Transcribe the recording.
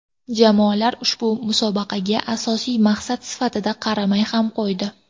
Jamoalar ushbu musobaqaga asosiy maqsad sifatida qaramay ham qo‘ydi.